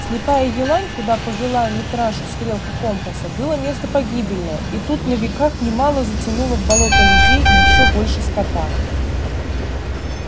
слепая елань куда повела митрашу стрелка компаса было место погибельное и тут на веках немало затянуло в болото людей и ещё больше скота